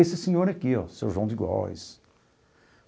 Esse senhor aqui ó, o seu João de Góes.